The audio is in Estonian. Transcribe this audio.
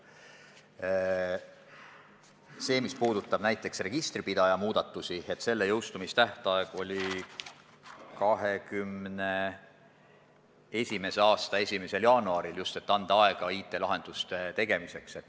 Selle osa, mis puudutab näiteks registripidaja muudatusi, jõustumise tähtaeg oli 2021. aasta 1. jaanuaril – just seepärast, et anda aega IT-lahenduste tegemiseks.